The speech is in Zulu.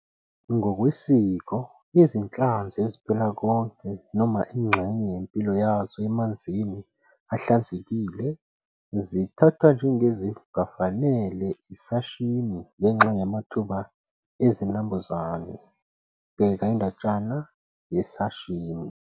Ngokwesiko, izinhlanzi eziphila konke noma ingxenye yempilo yazo emanzini ahlanzekile zithathwa njengezingafanele i-sashimi ngenxa yamathuba ezinambuzane, bheka indatshana yeSashimi.